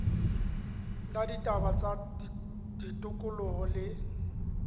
la ditaba tsa tikoloho le